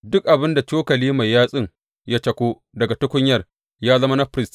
Duk abin da cokali mai yatsun ya cako daga tukunyar, ya zama na firist.